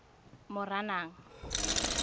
moranang